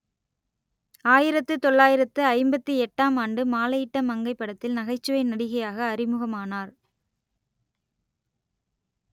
ஆயிரத்து தொள்ளாயிரத்து ஐம்பத்தி எட்டாம் ஆண்டு மாலையிட்ட மங்கை படத்தில் நகைச்சுவை நடிகையாக அறிமுகமானார்